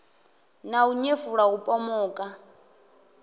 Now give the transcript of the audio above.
na u nyefula u pomoka